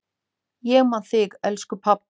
Ég man þig, elsku pabbi.